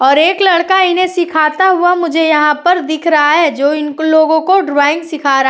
और एक लड़का इन्हैं सीखता हुआ मुझे यहाँ पर दिख रहा है जो इनके लोगों को ड्राइंग सीखा रहा --